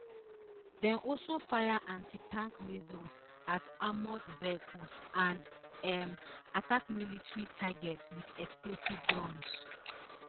dem also fire anti tank missiles at armoured vehicles and um attack military targets wit explosive drones